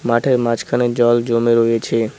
মাঠের মাঝখানে জল জমে রয়েছে।